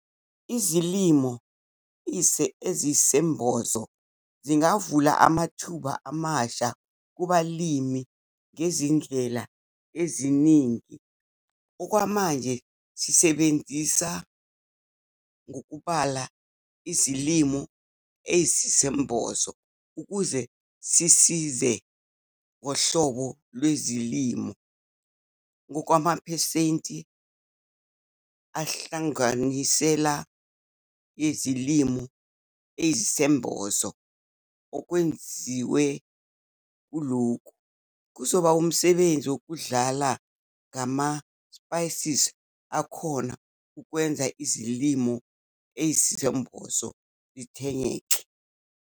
Izilimo eziyisembozo zingavula amathuba amasha kubalimi ngezindlela eziningi. Okwamanje sisebenza ngokubala izilimo eziyisembozo ukuze sisize ngohlobo lwezilimo ngokwamaphesenti akunhlanganisela yezilimo eziyisembozo. Okwengeziwe kulokhu kuzoba umsebenzi wokudlala ngama-species akhona ukwenza izilimo eziyisembozo zithengeke.